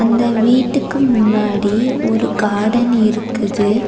அந்த வீட்டுக்கு முன்னாடி ஒரு கார்டன் இருக்குது.